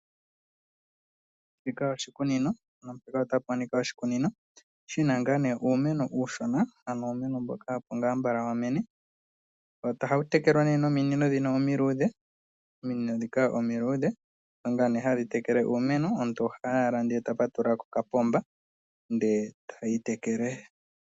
Shika oshikunino otapa monika oshikunino shina ngaa nee iimeno uushona, ano uumeno mboka opo ngaa mbala wa mene, ohawu tekelwa nee nominino dhino omiluudhe, ominino dhika omaluudhe odho ngaa hadhi tekele iimeno omuntu ohayi owala ndele ta patulula kokapomba nde tayi tekele.